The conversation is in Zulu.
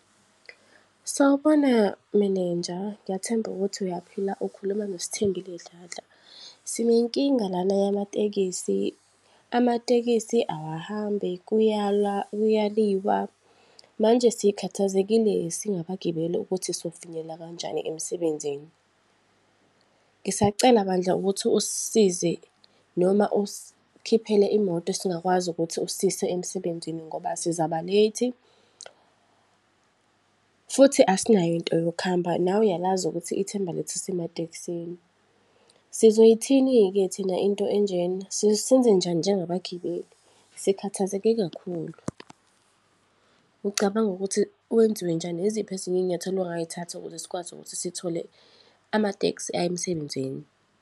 Sawubona, meneja, ngiyathemba ukuthi uyaphila. Ukhuluma noSithembile Dladla. Sinenkinga lana yamatekisi, amatekisi awahambi, kuyala, kuyaliwa. Manje sikhathazekeli singabagibeli ukuthi sofinyelela kanjani emsebenzini. Ngisacela bandla ukuthi usisize, noma usikhiphele imoto esingakwazi ukuthi usiyise emsebenzini ngoba sizaba-late. Futhi, asinayo into yokuhamba, nawe uyalazi ukuthi ithemba lethu lisematekisini. Sizoyithini-ke thina into enjena? Senzenjani nje ngabagibeli? Sikhathazeke kakhulu. Ucabanga ukuthi kwenziwe njani? Iziphi ezinye iy'nyathelo ongayithatha ukuze sikwazi ukuthi sithole amatekisi aya emsebenzini?